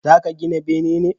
Za ka gina bene ne?